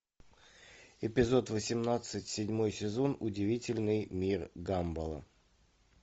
эпизод восемнадцать седьмой сезон удивительный мир гамбола